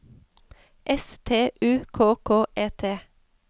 S T U K K E T